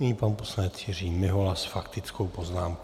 Nyní pan poslanec Jiří Mihola s faktickou poznámkou.